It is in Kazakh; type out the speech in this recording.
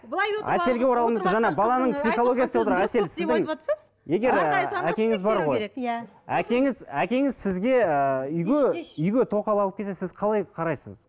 әкеңіз әкеңіз сізге ыыы үйге үйге тоқал алып келсе сіз қалай қарайсыз